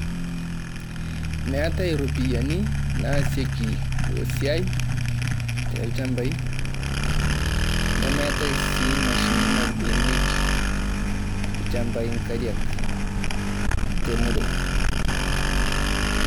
meetae iropiyiani naasieki esiai, te ilchambai nemeetae sii imashinini nabukokinyieki ichambai inkariak, te murua.